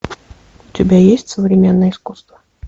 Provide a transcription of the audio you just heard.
у тебя есть современное искусство